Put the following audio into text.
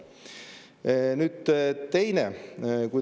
Nüüd, teine.